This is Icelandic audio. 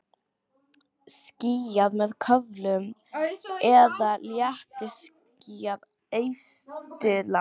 Skýjað með köflum eða léttskýjað austanlands